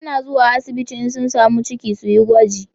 Mata na zuwa asibiti in sun samu ciki suyi gwaji